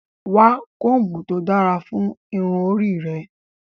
Wa kombu to dara fun irun ori rẹ!